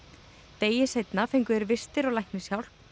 degi seinna fengu þeir vistir og læknishjálp